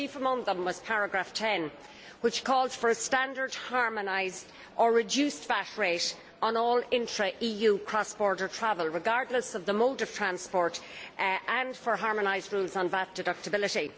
Chief among them was paragraph 10, which calls for a standard harmonised or reduced VAT rate on all intra EU cross border travel, regardless of the mode of transport, and for harmonised rules on VAT deductibility.